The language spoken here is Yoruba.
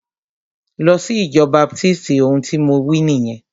Lọ sí ìjọ baptisti! Ohun tí mo wí nìyẹn.